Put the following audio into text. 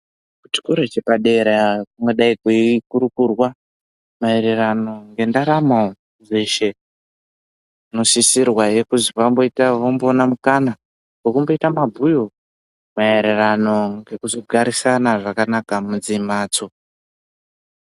Kuchikora chepadera kungadayi kweikurukurwa maererano ngendaramo dzeshe. Kunosisirwahe kuzi vamboita mukana wekumboita mabhuyo maererano ngekuzogarisana zvakanaka mumadzimhatso.